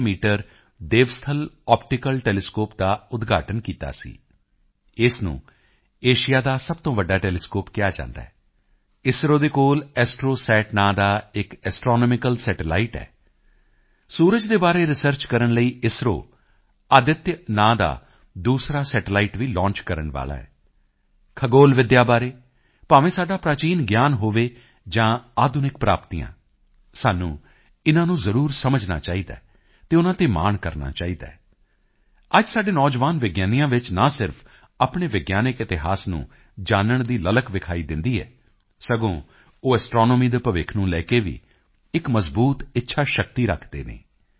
6 metre Devasthal optical telescope ਦਾ ਉਦਘਾਟਨ ਕੀਤਾ ਸੀ ਇਸ ਨੂੰ ਏਸ਼ੀਆ ਦਾ ਸਭ ਤੋਂ ਵੱਡਾ ਟੈਲੀਸਕੋਪ ਕਿਹਾ ਜਾਂਦਾ ਹੈ ਇਸਰੋ ਦੇ ਕੋਲ ਐਸਟ੍ਰੋਸੈਟ ਨਾਂ ਦਾ ਇੱਕ ਐਸਟ੍ਰੋਨੋਮਿਕਲ ਸੈਟੇਲਾਈਟ ਹੈ ਸੂਰਜ ਦੇ ਬਾਰੇ ਰਿਸਰਚ ਕਰਨ ਲਈ ਇਸਰੋ ਆਦਿਤਯ ਨਾਂ ਦਾ ਦੂਸਰਾ ਸੈਟੇਲਾਈਟ ਵੀ ਲੌਂਚ ਕਰਨ ਵਾਲਾ ਹੈ ਖਗੋਲ ਵਿੱਦਿਆ ਬਾਰੇ ਭਾਵੇਂ ਸਾਡਾ ਪ੍ਰਾਚੀਨ ਗਿਆਨ ਹੋਵੇ ਜਾਂ ਆਧੁਨਿਕ ਪ੍ਰਾਪਤੀਆਂ ਸਾਨੂੰ ਇਨ੍ਹਾਂ ਨੂੰ ਜ਼ਰੂਰ ਸਮਝਣਾ ਚਾਹੀਦਾ ਹੈ ਅਤੇ ਉਨ੍ਹਾਂ ਤੇ ਮਾਣ ਕਰਨਾ ਚਾਹੀਦਾ ਹੈ ਅੱਜ ਸਾਡੇ ਨੌਜਵਾਨ ਵਿਗਿਆਨੀਆਂ ਵਿੱਚ ਨਾ ਸਿਰਫ ਆਪਣੇ ਵਿਗਿਆਨਕ ਇਤਿਹਾਸ ਨੂੰ ਜਾਨਣ ਦੀ ਲਲਕ ਵਿਖਾਈ ਦਿੰਦੀ ਹੈ ਸਗੋਂ ਉਹ ਐਸਟ੍ਰੋਨੋਮੀ ਦੇ ਭਵਿੱਖ ਨੂੰ ਲੈ ਕੇ ਵੀ ਇੱਕ ਮਜਬੂਤ ਇੱਛਾ ਸ਼ਕਤੀ ਰੱਖਦੇ ਹਨ